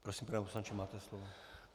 Prosím, pane poslanče, máte slovo.